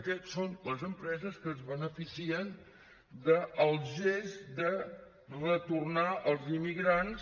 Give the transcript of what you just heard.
aquestes són les empreses que es beneficien del gest de retornar els immigrants